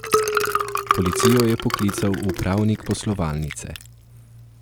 Policijo je poklical upravnik poslovalnice.